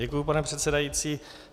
Děkuji, pane předsedající.